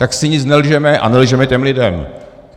Tak si nic nelžeme a nelžeme těm lidem.